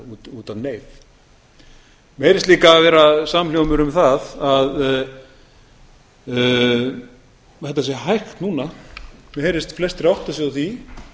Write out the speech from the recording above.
út af neyð mér heyrist líka vera samhljómur um það að þetta sé hægt núna mér heyrist flestir átta sig á því